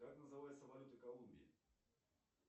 как называется валюта колумбии